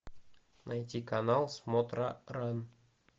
найти канал смотра ран